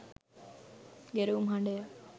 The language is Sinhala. ගෙරවුම් හඩය.